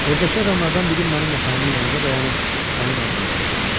Evdəki adamlardan biri mənim yatağımın yanında dayanıb onun adını çəkirdi.